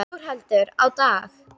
Þórhallur: Á dag?